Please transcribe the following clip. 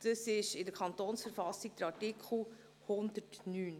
Dies steht in Artikel 109 KV.